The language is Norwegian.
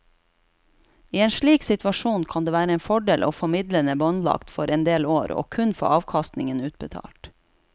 I en slik situasjon kan det være en fordel å få midlene båndlagt for en del år og kun få avkastningen utbetalt.